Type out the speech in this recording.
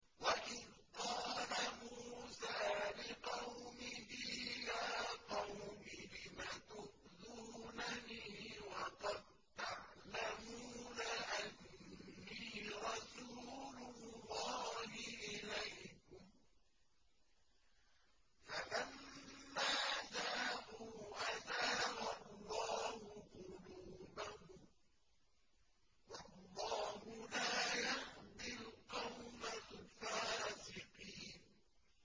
وَإِذْ قَالَ مُوسَىٰ لِقَوْمِهِ يَا قَوْمِ لِمَ تُؤْذُونَنِي وَقَد تَّعْلَمُونَ أَنِّي رَسُولُ اللَّهِ إِلَيْكُمْ ۖ فَلَمَّا زَاغُوا أَزَاغَ اللَّهُ قُلُوبَهُمْ ۚ وَاللَّهُ لَا يَهْدِي الْقَوْمَ الْفَاسِقِينَ